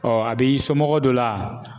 a b'i somɔgɔ dɔ la ?